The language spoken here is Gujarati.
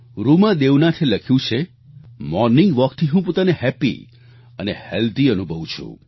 રૂમા દેવનાથે લખ્યું છે મોર્નિંગ walkથી હું પોતાને હેપી અને હેલ્થી અનુભવુ છું